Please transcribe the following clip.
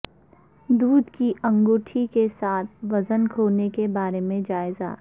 دودھ کی انگوٹھی کے ساتھ وزن کھونے کے بارے میں جائزہ